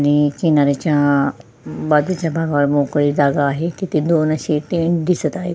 मी किनारच्या बाजूच्या भागावर मोकळी जागा आहे तिथे दोन असे टेंट दिसत आहे.